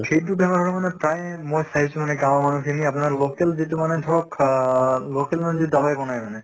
সেইটো বেমাৰ হʼলে মানে প্ৰায়ে মই চাইছো মানে গাঁৱৰ মানুহ খিনি আপোনাৰ local যিটো মানে ধৰক আহ local মানে যিটো দাৱাই বনায় মানে